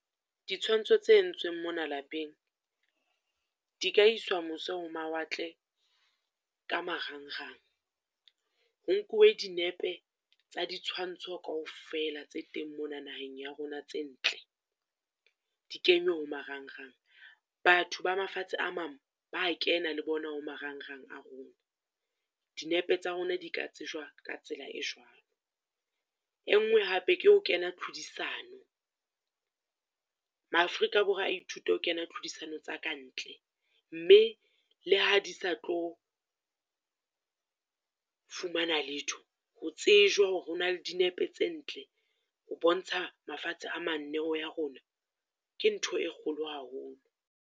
Ditshwantsho tse entsweng mona lapeng, di ka iswa mose ho mawatle ka marangrang. Ho nkuwe dinepe tsa di tshwantsho kaofela tse teng mona naheng ya rona tse ntle, di kenywe ho marangrang. Batho ba mafatshe a mang, ba kena le bona ho marangrang a rona. Dinepe tsa rona di ka tsejwa ka tsela e jwalo, e nngwe hape ke ho kena tlhodisano, maAfrika a ithute ho kena tlhodisano tsa ka ntle. Mme le ha di sa tlo fumana letho, ho tsejwa hore ho na le dinepe tse ntle ho bontsha mafatshe a manneho ya rona, ke ntho e kgolo haholo.